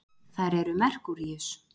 þær eru merkúríus